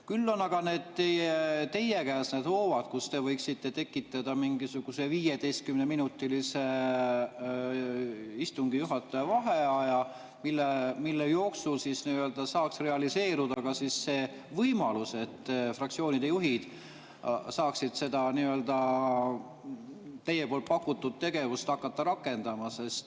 Küll on aga teie käes need hoovad, et te võiksite tekitada mingisuguse 15‑minutilise istungi juhataja vaheaja, mille jooksul siis saaks realiseeruda ka see võimalus, et fraktsioonide juhid saaksid seda teie poolt pakutud tegevust hakata rakendama.